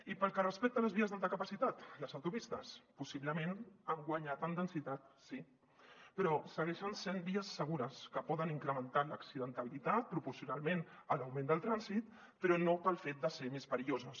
i pel que respecta a les vies d’alta capacitat les autopistes possiblement han guanyat en densitat sí però segueixen sent vies segures que poden incrementar l’accidentalitat proporcionalment a l’augment del trànsit però no pel fet de ser més perilloses